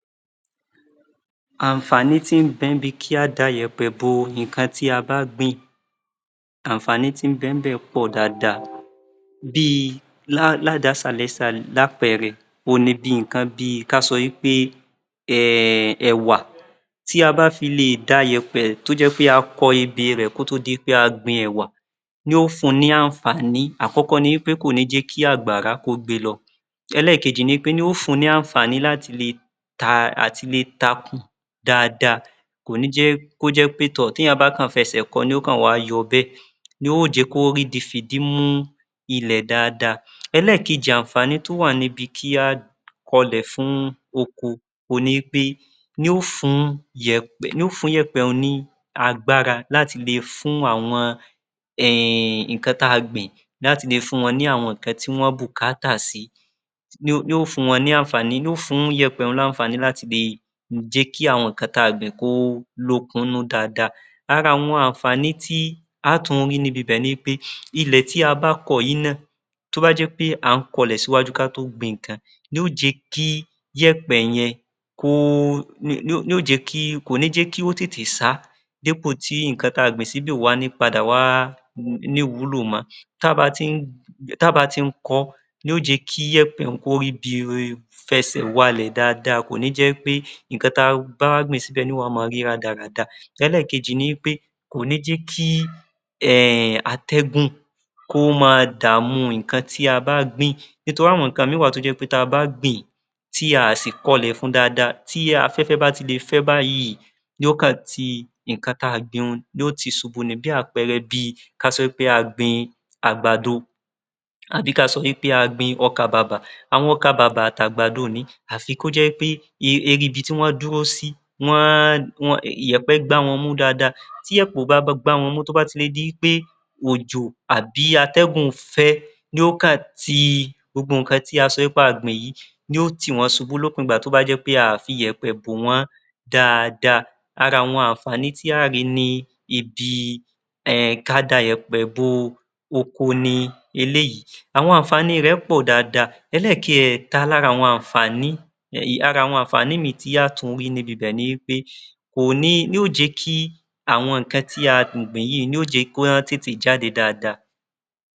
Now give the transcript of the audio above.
Àǹfààní tí ń bẹ bi ká da ìyẹ̀pẹ̀ bo nǹkan tí a bá gbìn, àǹfààní tí ń bẹ ńbẹ̀ pọ̀ dáadáa bí i ládasàrẹ́sà lápẹẹrẹ òhun ni bí i nǹkan bí i ká sọ wí pé ẹ̀wà, tí a bá fi lè da iyẹ̀pẹ̀ tí o jẹ́ pé a kọ ebè rẹ̀ kó tó di pé a gbin ẹ̀wà, yóò fun ní àǹfààní, àkọ́kọ́ ni wí pé kò ní jẹ́ kí àgbàrá kí ó gbe lọ. Ẹlẹ́ẹ̀keji ni pé yóò fun ní àǹfààní láti lè takùn dáadáa, kò ní jẹ́ kí ó jẹ́ pé tọ̀ tí ènìyàn bá kàn fẹsẹ̀ kọ ni yóò kan wá yọ bẹ́è, yọ́ò jẹ́ kí ó ríbi fìdí mú ilẹ̀ dáadáa. Ẹlẹ́ẹ̀kejì àǹfààní tí ó wà níbi kí a kọ lẹ̀ fún oko ohun ni wí pé yóò fún ìyẹ̀pẹ̀ ní agbára láti le fún àwọn nǹkan tí a gbìn láti le fún wọn ní àwọn nǹkan tí wọ́n bùkátà sí, yóò fún ìyẹ̀pẹ̀ ní àǹfààní àti nǹkan tí a gbìn kó lókun nínú dáadáa. Ara àwon àǹfààní tí a tún rí ní ibibẹ̀ ni pé ilẹ̀ tí a bá kọ yìí náà, tí ó bá jé wí pé à ń kọ ilẹ̀ sí iwájú ká tó gbin nǹkan ni yóò jẹ́ kí iyẹ̀pẹ̀ yẹn kí ó tètè ṣá dípò tí nǹkan tí a gbìn síbẹ̀ yẹn yóò padà wá ní ìwúlò mọ́, ta bá ti ń kọ́ yóò jẹ́ kí ìyẹ̀pẹ̀ un kó ríbi fẹsẹ̀ walẹ̀ dáadáa, kò ní jẹ́ wí pé nǹkan tí a bá wá gbìn síbẹ̀ yóò wá máa rí rádaràda. Ẹlẹ́ẹ̀kejì ni wí pé kò ní jẹ́ kí atẹ́gùn kó máa dàmú nǹkan tí a bá gbìn nítorí àwọn nǹkan ìmíì wà tí a bá gbìn, nítorí àwọn nǹkan ìmíì wà tí a bá gbìn-ín tí a à sì kọlẹ̀ fun dáadáa, tí afẹ́fẹ́ bá ti le fẹ báyìí, yóò kàn ti nǹkan tí a gbìn un yóò kàn tì í ṣubú ni. Bí àpẹẹrẹ bí i kí a sọ wí pé a gbin àgbàdo àbí kí a sọ wí pé a gbin ọkàbàbà, àwọn ọkàbàbà àti àgbàdo òní àfi kó jẹ́ wí pé orí ibití wọ́n dúró sí, ìyèpẹ̀ gbá wọn mú dáadáa, tí ìyẹ̀pẹ̀ kò gbá wọn mú, tí ó bá fi máa di wí pé òjò tàbí atẹ́gùn fẹ́ yóò kàn ti gbogbo nǹkan tí a sọ wí pé a gbìn yìí, yóò tì wọ́n ṣubú ìgbà tó bá jẹ́ wí pé a ò fi ìyẹ̀pẹ̀ bò wọ́n dáadáa, ara àwọn àǹfààní tí a óò rí ní ibi ká da ìyẹ̀pẹ̀ bo oko ni eléyìí, àwọn àǹfààní rẹ̀ pọ̀ dáadáa. Ẹlẹ́ẹ̀kẹta lára àwọn àǹfààní yìí, ara àwọn àǹfààní ìmíì tí a óò tún rí ní ibibẹ̀ ni wí pé ohun yóò jẹ́ kí àwọn nǹkan tí a gbìn yìí ni yóò jẹ́ kí wọ́n tètè jáde dáadáa.